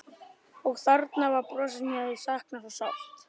Og þarna var brosið sem ég hafði saknað svo sárt.